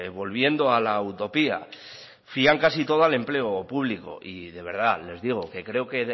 volviendo a la utopía fían casi todo al empleo público y de verdad les digo que creo que